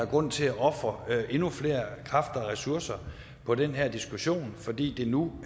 er grund til at ofre endnu flere kræfter og ressourcer på den her diskussion fordi det nu